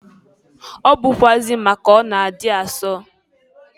Ọ bụkwụazị maka na ọ na-adị asọ.